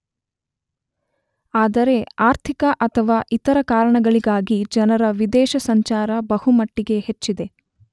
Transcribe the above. ಆದರೆ ಆರ್ಥಿಕ ಅಥವಾ ಇತರ ಕಾರಣಗಳಿಗಾಗಿ ಜನರ ವಿದೇಶ ಸಂಚಾರ ಬಹುಮಟ್ಟಿಗೆ ಹೆಚ್ಚಿದೆ.